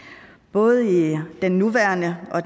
både i den nuværende og